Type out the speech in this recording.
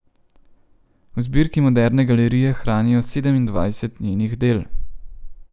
V zbirki Moderne galerije hranijo sedemindvajset njenih del.